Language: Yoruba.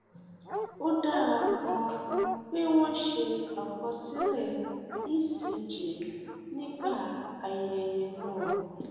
ó dára ganan pé wọn ṣe àkọsílẹ ecg nígbà ayẹyẹ náà